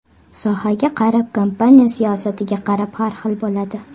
Sohaga qarab, kompaniya siyosatiga qarab har xil bo‘ladi.